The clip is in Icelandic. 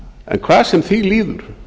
en hvað sem því líður